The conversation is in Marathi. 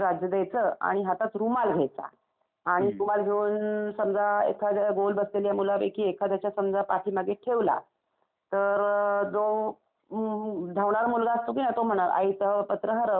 आणि हातात रुमाल घ्यायचा आणि रुमाल घेऊन समजा एखाद्या गोल बसलेल्या मूलापैकी एखाद्याच्या समजा पाठीमागे ठेवला तर जो धावणारा मुलगा असतो की नाही तो म्हणणार आईच पत्र हरवलं.